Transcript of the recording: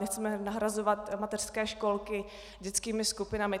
Nechceme nahrazovat mateřské školky dětskými skupinami.